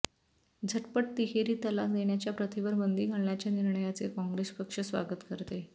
झटपट तिहेरी तलाक देण्याच्या प्रथेवर बंदी घालण्याच्या निर्णयाचे काँग्रेस पक्ष स्वागत करते